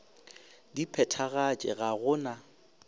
di phethagatše ga go na